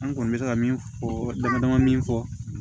An kɔni bɛ se ka min fɔ damadama min fɔ